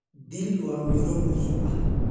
Dill waa miro muhiim ah.